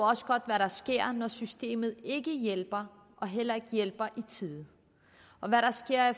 også godt hvad der sker når systemet ikke hjælper og heller ikke hjælper i tide og hvad der sker